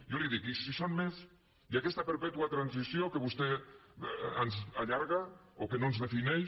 jo li dic i si són més i aquesta perpètua transició que vostè ens allarga o que no ens defineix